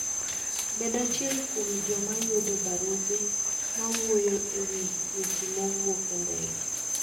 Bed achiel kuom joma yudo barupe mawuoyo e wi weche mawuok e ndege.